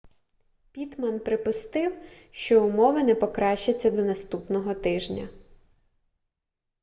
піттман припустив що умови не покращаться до наступного тижня